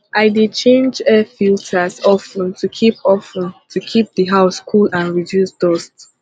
i dey change air filters of ten to keep of ten to keep the house cool and reduce dust